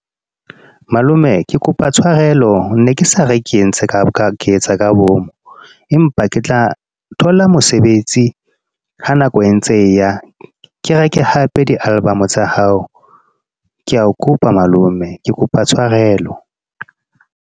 Malome, ke kopa tshwarelo. Ne ke sa re ke entse ka ke etsa ka bomo. Empa ke tla thola mosebetsi ha nako e ntse ya, ke reke hape di-album tsa hao. Ke a kopa malome, ke kopa tshwarelo.